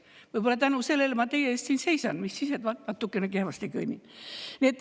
Võib-olla tänu sellele ma teie ees siin seisan, mis siis, et natukene kehvasti kõnnin.